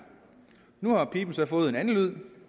nu har piben så fået en andet lyd